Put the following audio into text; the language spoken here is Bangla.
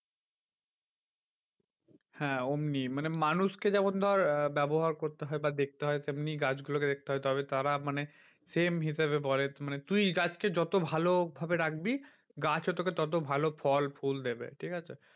হ্যাঁ অমনি মানে মানুষকে যেমন ধর আহ ব্যবহার করতে হয় বা দেখতে হয়। তেমনি গাছগুলোকে দেখতে হবে তারা মানে same হিসেবে মানে তুই গাছকে যত ভালোভাবে রাখবি গাছও তোকে ভালো ফল ফুল দেবে ঠিকাছে